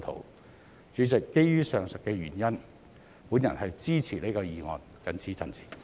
代理主席，基於上述理由，我支持這項議案，謹此陳辭。